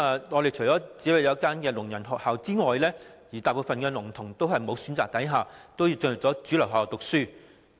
我們除了有一間聾人學校外，大部分聾童在無選擇的情況下，只好進入主流學校讀書。